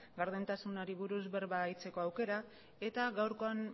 gardentasunari buruz berba egiteko aukera eta gaurkoan